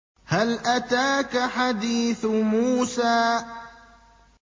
هَلْ أَتَاكَ حَدِيثُ مُوسَىٰ